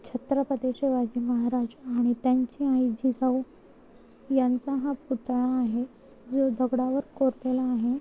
छत्रपती शिवाजी महाराज आणि त्यांचे आई जिजाऊ यांचा हा पुतळा आहे. जो दगडावर कोरलेला आहे.